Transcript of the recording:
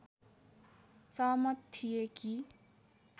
सहमत थिए कि